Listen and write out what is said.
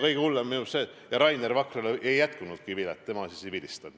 Kõige hullem on minu meelest see, et Rainer Vakrale ei jätkunudki vilet, tema siis ei vilistanud.